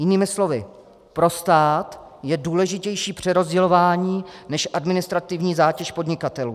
Jinými slovy, pro stát je důležitější přerozdělování než administrativní zátěž podnikatelů.